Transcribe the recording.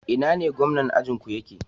Ina ne gomnan ajinku yake?